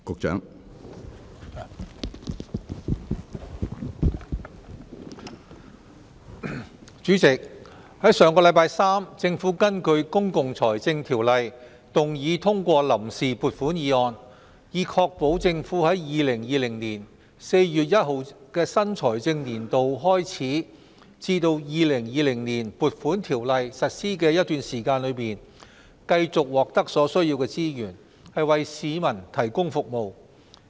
主席，在上星期三，政府根據《公共財政條例》動議通過臨時撥款議案，以確保政府在2020年4月1日的新財政年度開始至《2020年撥款條例草案》實施的一段時間，繼續獲得所需資源，為市民提供服務。